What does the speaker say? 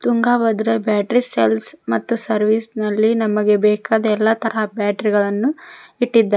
Tungabhadra battery sales ಮತ್ತು service ನಲ್ಲಿ ನಮಗೆ ಬೇಕಾದ ಎಲ್ಲಾ ತರಹದ ಬ್ಯಾಟರಿ ಗಳನ್ನು ಇಟ್ಟಿದ್ದಾರೆ.